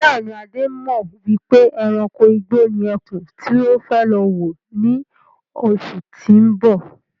Bẹ́ẹ̀ni, Adé mọ wípé ẹranko igbó ni ẹkún tí ó fẹ́ lọ wò ní oṣù tó ń bọ̀.